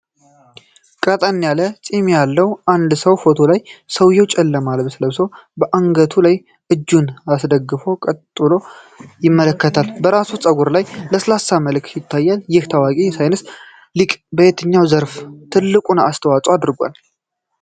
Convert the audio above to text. ቀጠን ያለ ፂም ያለው አንድ ሰው ፎቶ ነው። ሰውየው ጨለማ ልብስ ለብሶ በአገጩ ላይ እጁን አስደግፎ ቀጥ ብሎ ይመለከታል። በራስ ፀጉሩ ላይ ለስላሳ መልክ ይታያል። ይህ ታዋቂ የሳይንስ ሊቅ በየትኛው ዘርፍ ትልቁን አስተዋፅዖ አድርጓል?